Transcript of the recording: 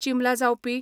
चिंबला जावपी